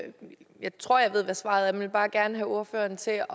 og jeg tror jeg ved hvad svaret er men vil bare gerne have ordføreren til